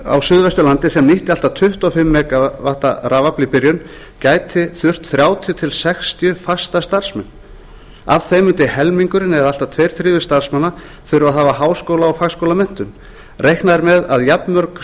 á suðvesturlandi sem nýtti allt að tuttugu og fimm megavatta rafafl í byrjun gæti þurft þrjátíu til sextíu fasta starfsmenn af þeim mundi helmingurinn eða allt að tveir þriðju starfsmanna þurfa að hafa háskóla og fagskólamenntun reiknað er með að jafnmörg